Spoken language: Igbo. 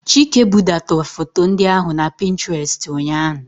Chike budata foto ndị ahụ na Pinterest ụnyahụ.